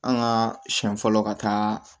An ka siɲɛ fɔlɔ ka taa